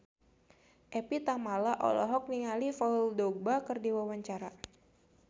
Evie Tamala olohok ningali Paul Dogba keur diwawancara